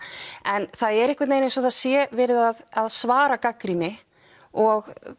en það er einhvern veginn eins og það sé verið að svara gagnrýni og